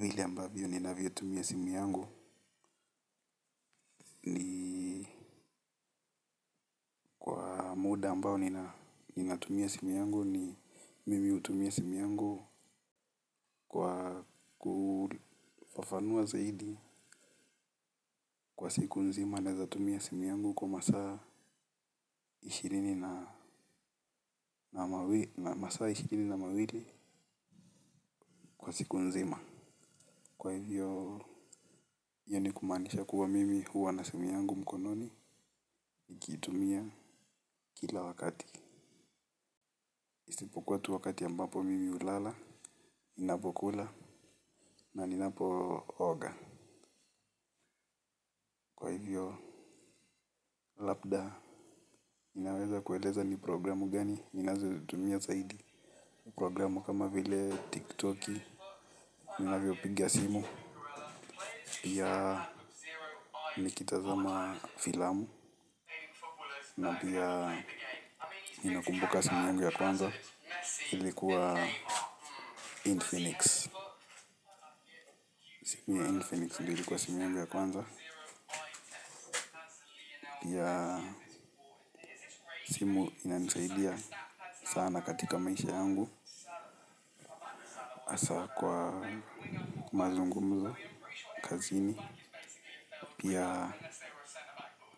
Hili ambavyo ninavyotumia simu yangu. Muda ambao ninatumia simu yangu ni mimi utumia simu yangu kwa kufafanua zaidi. Kwa siku nzima naezatumia simu yangu kwa masaa ishirini na mawili kwa siku nzima. Iyo ni kumanisha kuwa mimi huwa na simu yangu mkononi. Nikitumia kila wakati. KKwa tu wakati ambapo mimi ulala, ninapokula na ninapooga. Kwa hivyo labda ninaweza kueleza ni programu gani? Ninazotumia zaidi programu kama vile tiktoki. Nina vyo piga simu. Pia nikitazama filamu na pia inakumbuka simu yangu ya kwanza. Hili kuwa Infinix simu ya Infinix ndo ilikuwa simu yangu ya kwanza. Pia simu inanisaidia sana katika maisha yangu hasa kwa mazungumzo, kazini. Pia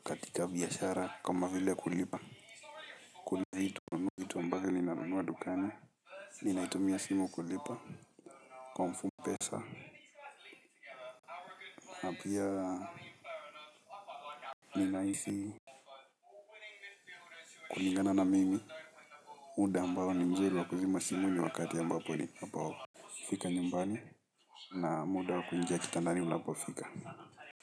katika biashara kama vile kulipa bado ninanunua dukani ninatumia simu kulipa kwa mfano pesa kulingana na mimi muda ambao ni mzuri wa kuzima simu ni wakati ambapo fika nyumbani. Na muda wa kuingia kitandani unapofika.